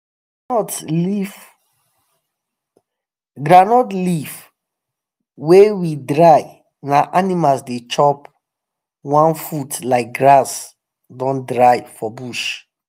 groundnut leave wa we dry na animals the chop wan food like grass don dry for bush